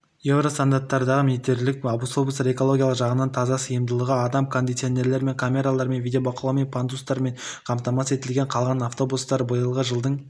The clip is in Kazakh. евро стандартындағы метрлік автобустар экологиялық жағынан таза сыйымдылығы адам кондиционерлермен камералармен видебақылаумен пандустармен қамтамасыз етілген қалған автобустар биылғы жылдың